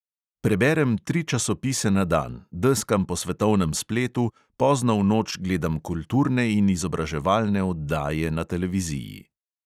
Preberem tri časopise na dan, deskam po svetovnem spletu, pozno v noč gledam kulturne in izobraževalne oddaje na televiziji.